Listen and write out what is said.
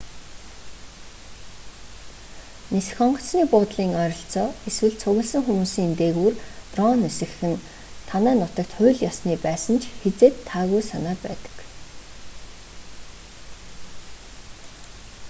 нисэх онгоцны буудлын ойролцоо эсвэл цугласан хүмүүсийн дээгүүр дрон нисгэх нь танай нутагт хууль ёсны байсан ч хэзээд таагүй санаа байдаг